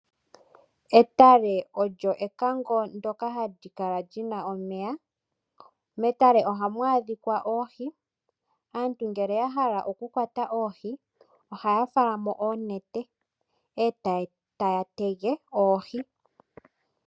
Etale olyo ekango ndoka hali kala lyina omeya. Metale ohamu adhika oohi, aantu ngele ya hala oku kwata oohi, ohaya fala mo oonete e taya tege oohi.